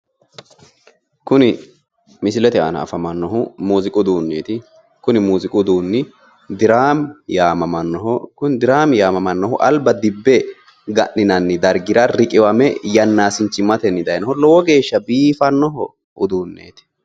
Kuni misilete aana afamannohu muuziiqu uduunneeti, kuni muuziiqu uduunni diraami yaamammannoho kuni diraame yaamamannohu alba dibbe ga'ninanni dargira riqiwame yaannasichimmate dayiinoho lowo geeshsha biifannoho uduunneeti